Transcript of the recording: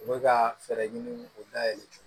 U bɛ ka fɛɛrɛ ɲini k'o da yɛlɛ